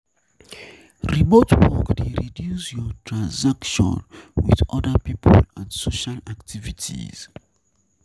Remote work dey reduce your interaction with oda people and social activity